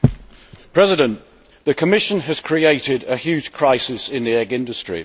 Mr President, the Commission has created a huge crisis in the egg industry.